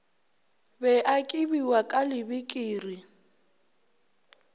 be a kibiwa ka lebikiri